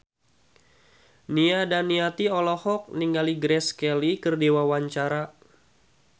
Nia Daniati olohok ningali Grace Kelly keur diwawancara